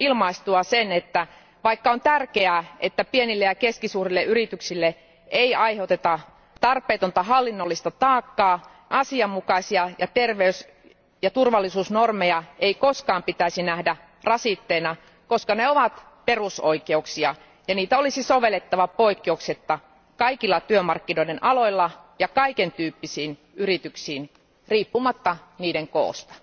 ilmaistua sen, että vaikka on tärkeää, että pienille ja keskisuurille yrityksille ei aiheuteta tarpeetonta hallinnollista taakkaa, asianmukaisia ja terveys ja turvallisuusnormeja ei kuitenkaan koskaan pitäisi nähdä rasitteena, koska ne ovat perusoikeuksia ja niitä olisi sovellettava poikkeuksetta kaikilla työmarkkinoiden aloilla ja kaikentyyppisiin yrityksiin riippumatta niiden koosta.